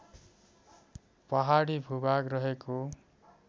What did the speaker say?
पहाडी भूभाग रहेको